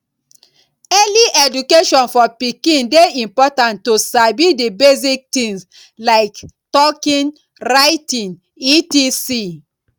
early education for pikin de important to sabi di basic things like talking writing etc